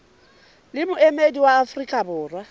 le moemedi wa afrika borwa